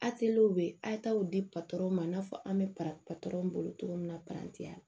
be a be di patɔrɔn ma i n'a fɔ an bɛ para patɔrɔn bolo cogo min na parantiya la